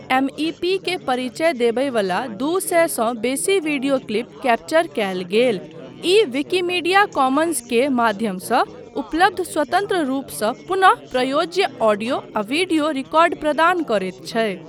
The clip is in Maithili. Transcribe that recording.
एमईपी के परिचय देबयवला दू सए सँ बेसी वीडियो क्लिप कैप्चर कयल गेल, ई विकिमीडिया कॉमन्सके माध्यमसँ उपलब्ध स्वतन्त्र रूपसँ पुनः प्रयोज्य ऑडियो आ वीडियो रिकॉर्ड प्रदान करैत छै।